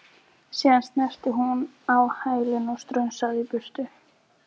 Síðan snerist hún á hæli og strunsaði í burtu.